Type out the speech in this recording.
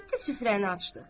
Getdi süfrəni açdı.